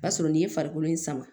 O b'a sɔrɔ nin ye farikolo in sama